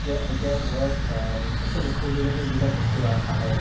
এতিয়া আ এতিয়া ধৰক আ actually food related যিবিলাক বস্তু আহে